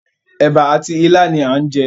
Èbà àti ilá ni à ń jẹ.